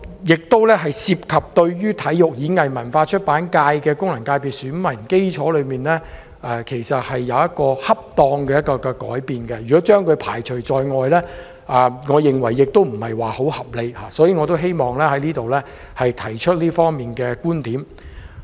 這做法同樣涉及對體育、演藝、文化及出版界的功能界別選民基礎，作一個恰當的改變，如果將他們排除在外，我認為不太合理，所以我希望在此提出這方面的觀點。